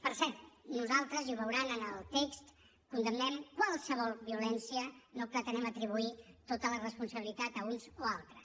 per cert nosaltres i ho veuran en el text condemnem qualsevol violència no pretenem atribuir tota la responsabilitat a uns o altres